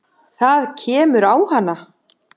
Það kemur á hana.